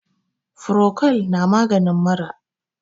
furocol namagin mura